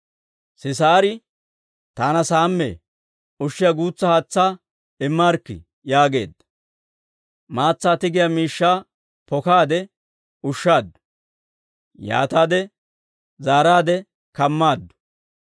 Sisaari, «Taana saammee; ushiyaa guutsa haatsaa immaarikkii» yaageedda. Maatsaa tigiyaa miishshaa pokaade ushshaaddu; yaataade zaaraadde kammaaddu.